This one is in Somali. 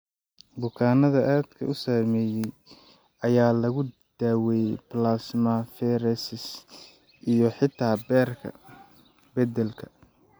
Bukaannada aadka u saameeyay ayaa lagu daweeyay plasmapheresis iyo xitaa beerka beddelka.